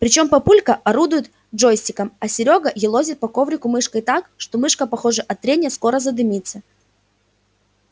причём папулька орудует джойстиком а серёга елозит по коврику мышкой так что мышка похоже от трения скоро задымится